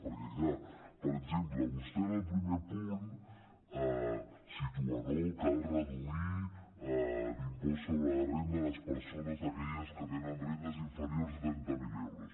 perquè clar per exemple vostè en el primer punt situa no cal reduir l’impost sobre la renda a les persones aquelles que tenen rendes inferiors de trenta mil euros